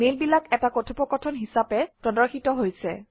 মেইলবিলাক এটা কথোপকথন হিচাপে প্ৰদৰ্শিত হৈছে